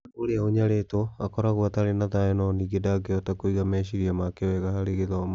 Mwana ũrĩa ũnyaritũo akoragũo atarĩ na thayũ no ningĩ ndangĩhota kũiga meciria make weega harĩ gĩthomo.